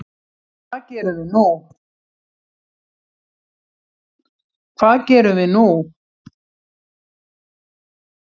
Hvað gerum við nú